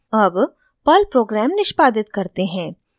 अब Perl program निष्पादित करते हैं